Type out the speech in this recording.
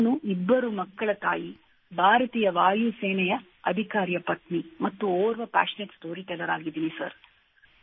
ನಾನು ಇಬ್ಬರು ಮಕ್ಕಳ ತಾಯಿ ಭಾರತೀಯ ವಾಯುಸೇನೆಯ ಅಧಿಕಾರಿಯ ಪತ್ನಿ ಮತ್ತು ಓರ್ವ ಪ್ಯಾಶನೇಟ್ ಸ್ಟೋರಿಟೆಲ್ಲರ್ ಆಗಿದ್ದೇನೆ ಸರ್